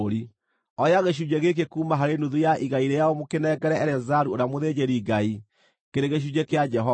Oya gĩcunjĩ gĩkĩ kuuma harĩ nuthu ya igai rĩao mũkĩnengere Eleazaru ũrĩa mũthĩnjĩri-Ngai kĩrĩ gĩcunjĩ kĩa Jehova.